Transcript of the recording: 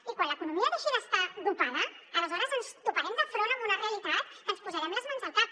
i quan l’economia deixi d’estar dopada aleshores ens toparem de front amb una realitat que ens posarem les mans al cap